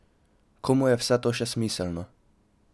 Komu je vse to še smiselno?